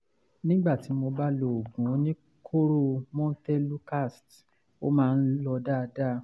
nígbà tí mo bá lo oògùn oníkóró montelukast ó máa ń lọ dáadáa